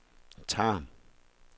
Tarm